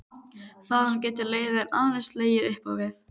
Þaðan getur leiðin aðeins legið upp á við.